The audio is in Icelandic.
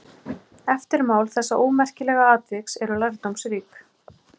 Eftirmál þessa ómerkilega atviks eru lærdómsrík.